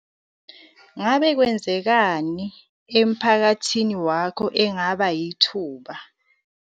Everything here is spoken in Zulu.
Ngabe kwenzekani emphakathini wakho engaba yithuba?